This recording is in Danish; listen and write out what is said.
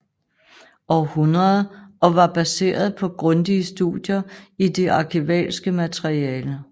Aarhundrede og var baseret på grundige studier i det arkivalske materiale